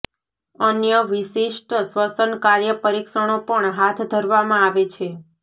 અન્ય વિશિષ્ટ શ્વસન કાર્ય પરીક્ષણો પણ હાથ ધરવામાં આવે છે